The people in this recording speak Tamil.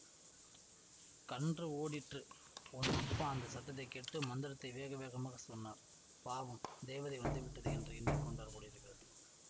கன்று ஓடிற்று உன் அப்பா அந்த சத்தத்தை கேட்டு மந்திரத்தை வேக வேகமாக சொன்னார் பாவம் தேவதை வந்துவிட்டது என்று எண்ணி கொண்டார் போலிருக்கிறது